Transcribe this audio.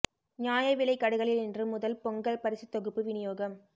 நியாய விலைக் கடைகளில் இன்று முதல் பொங்கல் பரிசுத் தொகுப்பு விநியோகம்